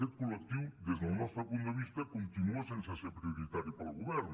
aquest col·lectiu des del nostre punt de vista continua sense ser prioritari per al govern